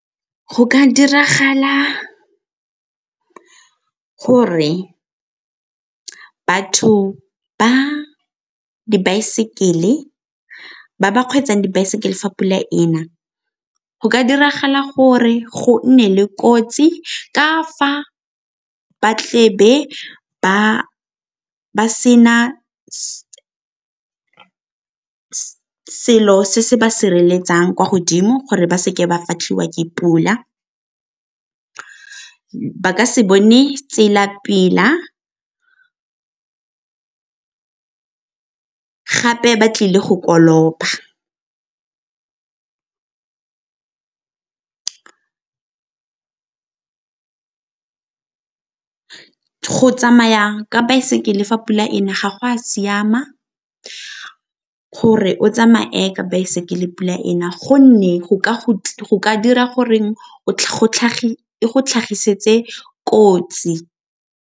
Go ka diragala gore batho ba ba kgweetsang dibaesekele fa pula e na, go ka diragala gore go nne le kotsi ka fa ba tlebe ba ba sena selo se se ba sireletsang kwa godimo gore ba seke ba fatlhiwa ke pula, ba ka se bone tsela pila gape ba tlile go koloba. Go tsamaya ka baesekele fa pula e na ga go a siama gore o tsamaya ka baesekele pula e na gonne go ka dira gore e go tlhagisetse kotsi.